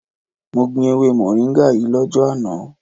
Mo gbin ewe moringa yii lojo ana